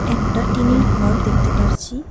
একটা টিন -এর ঘর দেখতে পারছি।